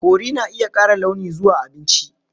Curry na iya ƙara launi zuwa abinci.